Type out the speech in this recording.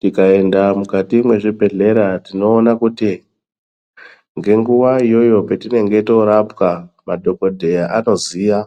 Tikaenda mukati mwezvibhedhlera tinoone kuti ngenguwa iyoyo petinenge toorapwa madhokodheya anoziya